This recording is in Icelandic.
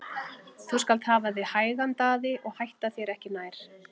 Þú skalt hafa þig hægan Daði og hætta þér ekki nær!